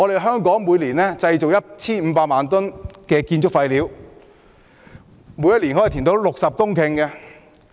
香港每年製造 1,500 萬公噸建築廢料，可以填出60公頃土地。